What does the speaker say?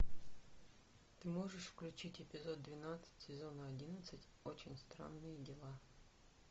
ты можешь включить эпизод двенадцать сезона одиннадцать очень странные дела